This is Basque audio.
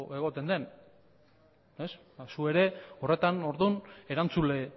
egoten den zu ere horretan orduan erantzule